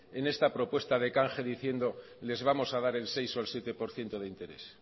en esta propuesta de canje diciendo les vamos a dar el seis o el siete por ciento de interés